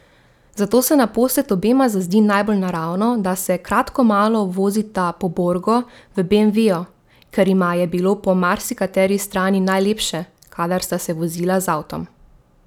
Zato se naposled obema zazdi najbolj naravno, da se kratkomalo vozita po Borgu v beemveju, ker jima je bilo po marsikateri strani najlepše, kadar sta se vozila z avtom.